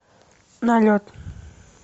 налет